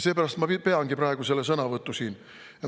Seepärast ma peangi praegu selle sõnavõtu siin.